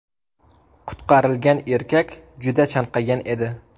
Qutqarilgan erkak juda chanqagan edi.